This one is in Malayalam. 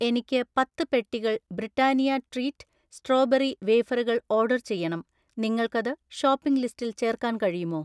എനിക്ക് പത്ത് പെട്ടികൾ ബ്രിട്ടാനിയ ട്രീറ്റ് സ്ട്രോബെറി വേഫറുകൾ ഓർഡർ ചെയ്യണം, നിങ്ങൾക്കത് ഷോപ്പിംഗ് ലിസ്റ്റിൽ ചേർക്കാൻ കഴിയുമോ?